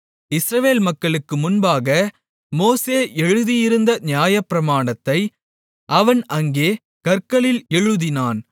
இஸ்ரவேல் மக்களுக்கு முன்பாக மோசே எழுதியிருந்த நியாயப்பிரமாணத்தை அவன் அங்கே கற்களில் எழுதினான்